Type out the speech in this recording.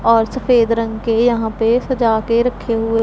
और सफेद रंग के यहां पे सजा के रखे हुएं--